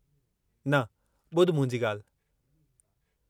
न, ॿुध मुंहिंजी ॻाल्हि।